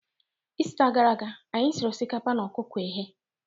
Ista gara aga, anyị siri osikapa na ọkụkọ eghe